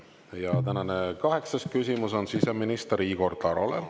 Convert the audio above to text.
Ja tänane kaheksas küsimus on siseminister Igor Tarole.